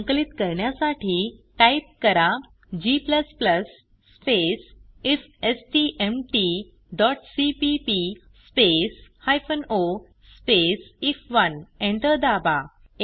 संकलित करण्यासाठी टाइप करा g स्पेस ifstmtसीपीपी स्पेस o स्पेस आयएफ1 एंटर दाबा